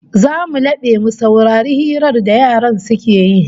Zamu labe mu saurari hirar da yaran suke yi